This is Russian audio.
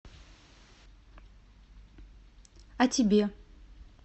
о тебе